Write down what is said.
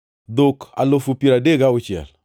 dhok alufu piero adek gauchiel (36,000),